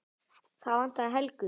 Það vantaði Helgu.